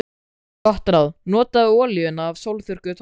Gott ráð: Notaðu olíuna af sólþurrkuðu tómötunum.